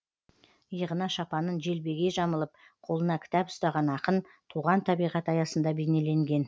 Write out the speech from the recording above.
иығына шапанын желбегей жамылып қолына кітап ұстаған ақын туған табиғат аясында бейнеленген